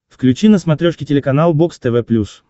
включи на смотрешке телеканал бокс тв плюс